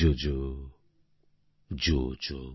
JoJo জো জো